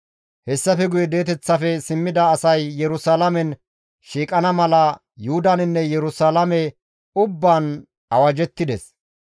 Hessafe guye di7eteththafe simmida asay Yerusalaamen shiiqana mala Yuhudaninne Yerusalaame ubbaan awajettides.